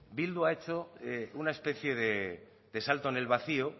bildu ha hecho una especie de salto en el vacío